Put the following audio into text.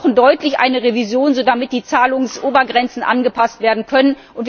Wir brauchen deutlich eine Revision, damit die Zahlungsobergrenzen angepasst werden können.